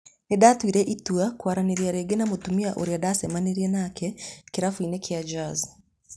Nindatuire itua kwaranĩria rĩngĩ na mũtumia ũrĩa ndacemanirĩe nake kĩrafuinĩ kĩa Jaz